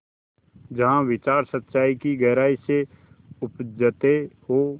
जहाँ विचार सच्चाई की गहराई से उपजतें हों